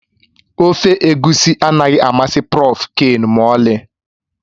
Ofe egusi anaghị amasị Prọf Ken ma ọlị